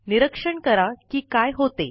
निरीक्षण करा कि काय होते